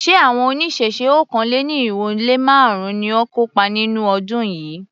Ṣé àwọn oníṣẹ̀ṣe okòó-lé-ní-irínwó-lé-márùn-ún ni ó kópa nínú ọdún yìí?